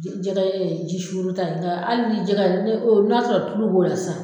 Je jɛkɛɛ ji suuruta ye nka hali ni jɛkɛ y'a d ne o n'a sɔrɔ tulu b'o la san